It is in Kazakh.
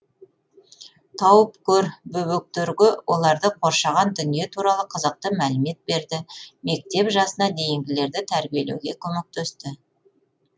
тауып көр бөбектерге оларды қоршаған дүние туралы қызықты мәлімет берді мектеп жасына дейінгілерді тәрбиелеуге көмектесті